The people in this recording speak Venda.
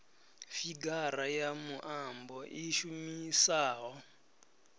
figara ya muambo i shumisaho